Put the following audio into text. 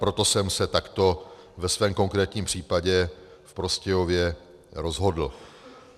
Proto jsem se takto ve svém konkrétním případě v Prostějově rozhodl.